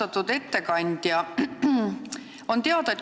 Austatud ettekandja!